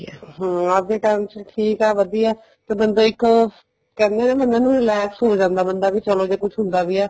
ਹਮ ਅੱਜ ਦੇ time ਵਿੱਚ ਠੀਕ ਹੈ ਵਧੀਆ ਤਾਂ ਬੰਦਾ ਇੱਕ ਕਹਿੰਦੇ ਨੇ ਬੰਦੇ ਨੂੰ relax ਹੋ ਜਾਂਦਾ ਬੰਦਾ ਚਲੋ ਜੇ ਕੁੱਛ ਹੁੰਦਾ ਵੀ ਆ